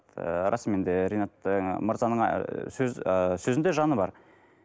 ы расымен де ренат ы мырзаның ы ы сөзінде жаны бар